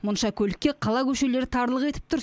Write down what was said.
мұнша көлікке қала көшелері тарлық етіп тұр